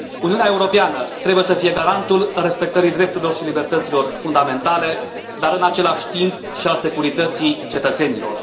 Uniunea Europeană trebuie să fie garantul respectării drepturilor și libertăților fundamentale, dar, în același timp, și al securității cetățenilor.